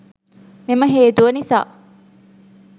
මෙම හේතුව නිසා